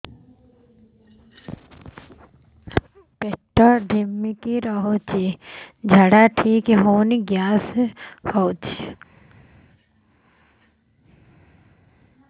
ପେଟ ଢିମିକି ରହୁଛି ଝାଡା ଠିକ୍ ହଉନି ଗ୍ୟାସ ହଉଚି